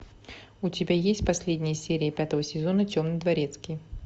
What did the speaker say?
у тебя есть последняя серия пятого сезона темный дворецкий